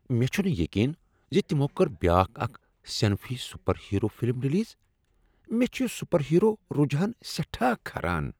مےٚ چھُ نہٕ یقین زِ تمو کٔر بیاکھ اکھ صنفی سُپر ہیرو فلم ریلیز مے٘ چُھ یہِ سُپر ہیرو رُجحان سیٹھاہ کھران۔